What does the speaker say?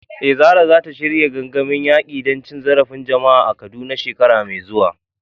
Eh, Zarah zata shirya gangamin yaƙi da cin zarafin jama’a a Kaduna shekara mai zuwa.